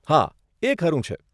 હા, એ ખરું છે.